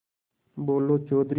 बोलो चौधरी